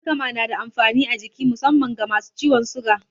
Alkama na da amfani a jiki musamman ga masu ciwon suga.